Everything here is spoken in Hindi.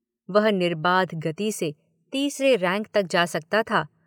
वह निर्बाध गति से तीसरे रैंक तक जा सकता था।